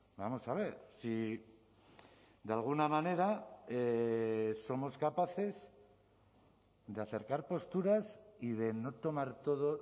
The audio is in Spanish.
vamos a ver si de alguna manera somos capaces de acercar posturas y de no tomar todo